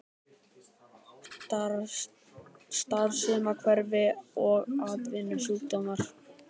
Starfsumhverfi og atvinnusjúkdómar.